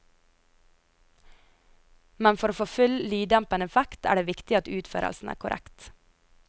Men for å få full lyddempende effekt er det viktig at utførelsen er korrekt.